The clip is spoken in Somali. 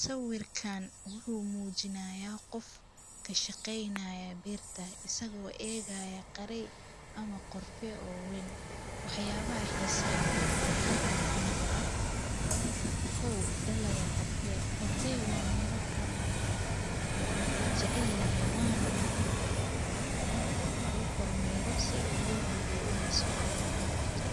Sawirkaan wuxuu muujinayaa qof ka shaqaynaya beerta isagoo eegaya qaray ama qorfee oo wayn. Waxyaabaha xiiso leh ee halkaan ka muuqda. Kow dhalaga qorfee. Qorfee waa miro caan ah oo la jecel yahay waana muhiim ah in la kormeero si loo hubiyay inay sufiican u kortay.